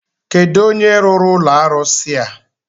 Kedụ onye rụrụ ụlọ arụsi a?